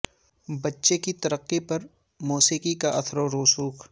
بچے کی ترقی پر موسیقی کے اثر و رسوخ